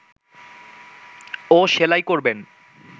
ও সেলাই করবেন